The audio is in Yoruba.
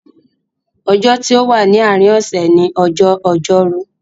Ọjọ́ tí o wà ní àárín osè ni ọjọ́ Ojórú.